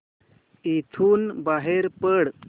इथून बाहेर पड